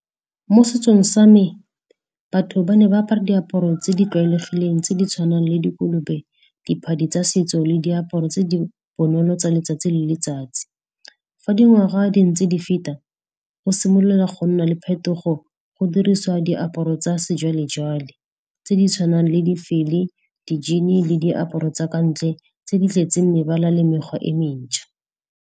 Mo setsong sa me batho ba ne ba apara diaparo tse di tlwaelegileng tse di tshwanang le dikolobe, diphadi tsa setso le diaparo tse di bonolo tsa letsatsi le letsatsi. Fa dingwaga di ntse di feta, go simolola go nna le phetogo, go dirisiwa diaparo tsa sejwale-jwale tse di tshwanang le di jean le diaparo tsa ka ntle tse di tletseng mebala le mekgwa e mentšha.